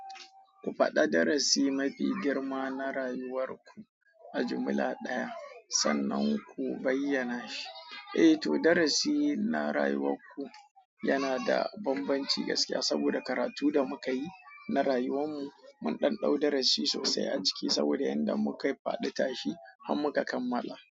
Ku faɗa darasi mafi girma na rayuwar ku a jumla ɗaya sannan ku bayyana shi. Eh to, darasi na rayuwarku yana da bambancin gaskiya saboda karatu da muka yi na rayuwar mu. Mun dan dau darasi sosai aciki, saboda yanda mukayi fadi tashi har muka kammala.